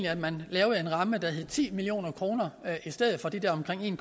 at man lavede en ramme der hed ti million kr i stedet for de der omkring en